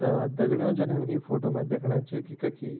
त दगड़ियों जन हम ईं फोटो मा दिखणा छी की कखी --